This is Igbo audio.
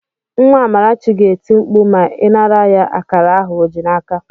Nwa Amarachi ga-eti mkpu ma ị nara ya akara ahụ ọ ji n'aka.